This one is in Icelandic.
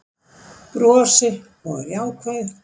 Brosi og er jákvæð